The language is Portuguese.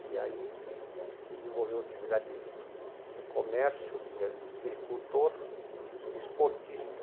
E aí desenvolveu atividade de comércio, de agricultor e esportista.